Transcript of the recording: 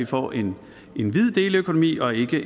får en en hvid deleøkonomi og ikke